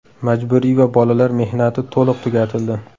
Majburiy va bolalar mehnati to‘liq tugatildi.